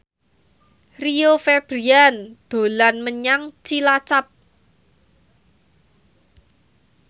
Rio Febrian dolan menyang Cilacap